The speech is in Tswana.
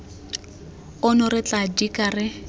ono re tla dika re